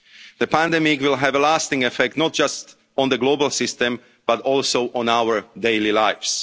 us to reflect. The pandemic will have a lasting effect, not just on the global system, but also on